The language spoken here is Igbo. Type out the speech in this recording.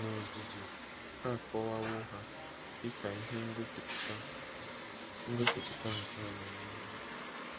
N'ozuzu, a kọwawo ha dị ka ihe ngosipụta ngosipụta nke amamihe.